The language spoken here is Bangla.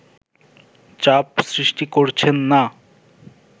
চাপ সৃষ্টি করছেন না